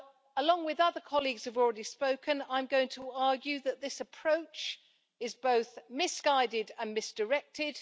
Along with other colleagues who have already spoken, I'm going to argue that this approach is both misguided and misdirected.